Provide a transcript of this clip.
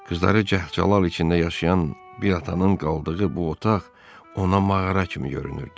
Qızları cəh-cəlal içində yaşayan bir atanın qaldığı bu otaq ona mağara kimi görünürdü.